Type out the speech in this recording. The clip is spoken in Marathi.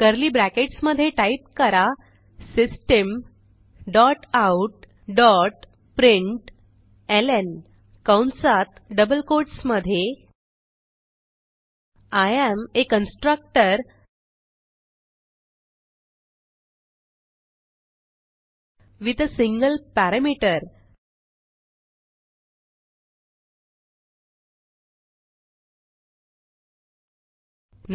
कर्ली bracketsमधे टाईप करा system dot out dot println कंसात डबल कोट्स मधे I am uh constructor with uh single parameter